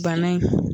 Bana in